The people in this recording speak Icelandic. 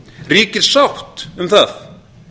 ríkir sátt um það